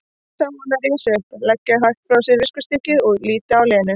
Ég sá hana rísa upp, leggja hægt frá sér viskustykkið og líta á Lenu.